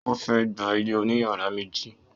O fẹ gbà ilé oní yàrá méjì.